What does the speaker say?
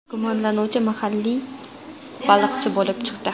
Gumonlanuvchi mahalliy baliqchi bo‘lib chiqdi.